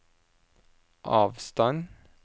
avstand